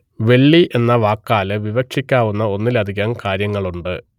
വെള്ളി എന്ന വാക്കാൽ വിവക്ഷിക്കാവുന്ന ഒന്നിലധികം കാര്യങ്ങളുണ്ട്